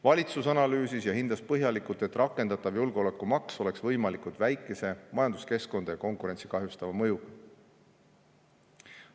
Valitsus analüüsis ja hindas põhjalikult, et rakendatav julgeolekumaks oleks võimalikult väikese majanduskeskkonda ja konkurentsi kahjustava mõjuga.